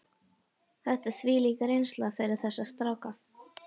Þetta er þvílík reynsla fyrir þessa stráka.